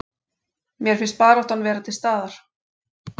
Mér fannst baráttan vera til staðar